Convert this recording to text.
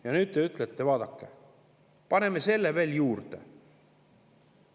Ja nüüd te ütlete, et vaadake, paneme selle veel juurde.